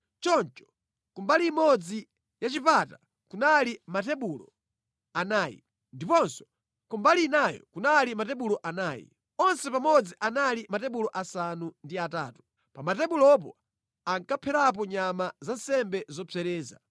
Choncho ku mbali imodzi ya chipata kunali matebulo anayi, ndiponso ku mbali inayo kunali matebulo anayi. Onse pamodzi anali matebulo asanu ndi atatu. Pa matebulopo ankapherapo nyama za nsembe zopsereza.